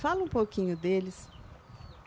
Fala um pouquinho deles.